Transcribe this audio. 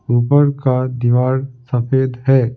ऊपर का दीवार सफेद है ।